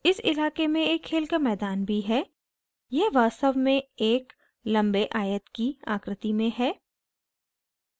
इस इलाके में एक खेल का मैदान भी है यह वास्तव में एक लम्बे आयत की आकृति में है